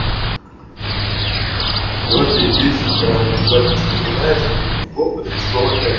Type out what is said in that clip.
все это и бесит прям владич поднимается перекопка крючкова пять